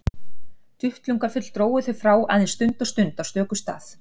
Duttlungafull drógu þau frá aðeins stund og stund á stöku stað.